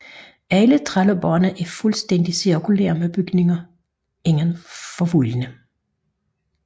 Alle trelleborgene er fuldstændigt cirkulære med bygninger inden for voldene